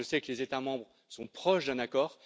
Je sais que les États membres sont proches d'un accord.